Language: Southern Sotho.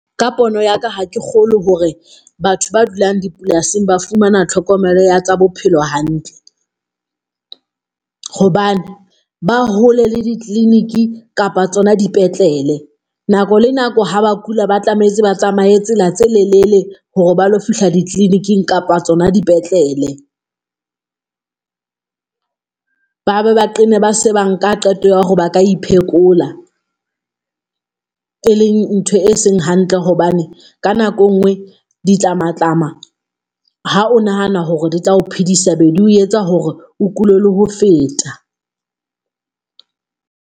Ka pono ya ka, ha ke kgolwe hore batho ba dulang dipolasing ba fumana tlhokomelo ya tsa bophelo hantle, hobane ba hole le di-clinic kapa tsona dipetlele. Nako le nako ha ba kula, ba tlametse ba tsamaye tsela tse lelele hore ba lo fihla di-clinic-ing kapa tsona dipetlele. Ba ba, ba qenne ba se ba nka qeto ya hore ba ka e phekola. E leng ntho e seng hantle hobane ka nako e nngwe ditlamatlama ha o nahana hore di tla o phedisa, be di ho etsa hore o kule la ho feta.